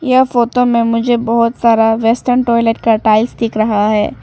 यह फोटो में मुझे बहुत सारा वेस्टर्न टॉयलेट का टाइल्स दिख रहा है।